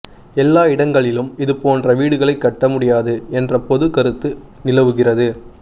எல்லா இடங்களிலும் இது போன்ற வீடுகளை கட்ட முடியாது என்ற பொது கருத்து நிலவுகிறது